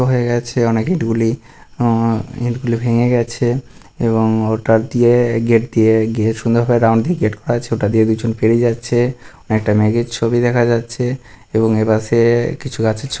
হয়ে গেছে অনেক ইট গুলি অঁ ইট গুলি ভেঙে গেছে এবং ওটা দিয়ে গেট দিয়ে গিয়ে সুন্দর ভাবে রাউন্ড দিয়ে গেট করা আছে ওটা দিয়ে দুজন পেরি যাচ্ছে একটা মেঘের ছবি দেখা যাচ্ছে এবং এপাশে-এ কিছু গাছের ছ --